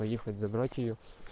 поехать забрать её